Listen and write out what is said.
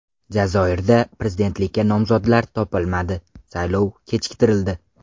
Jazoirda prezidentlikka nomzodlar topilmadi, saylov kechiktirildi.